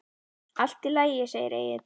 Allt í lagi, segir Egill.